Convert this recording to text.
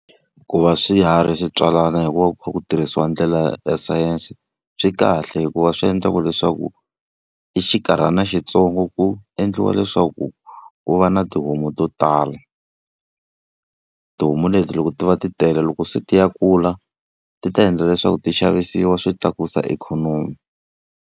Ku va swiharhi swi tswalana hi ku va ku kha ku tirhisiwa ndlela ya sayense, swi kahle hikuva swi endla ku leswaku hi xinkarhana xintsongo ku endliwa leswaku ku va na tihomu to tala. Tihomu leti loko ti va ti tele loko se ti ya kula, ti ta endla leswaku ti xavisiwa swi tlakusa ikhonomi.